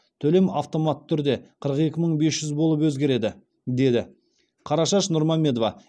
төлем автоматты түрде қырық екі мың бес жүз болып өзгереді деді қарашаш нұрмамедова